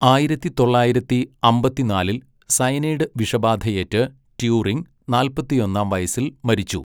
ആയിരത്തി തൊള്ളായിരത്തി അമ്പത്തിനാലിൽ സയനൈഡ് വിഷബാധയേറ്റ് ട്യൂറിംഗ് നാല്പത്തൊന്നാം വയസ്സിൽ മരിച്ചു.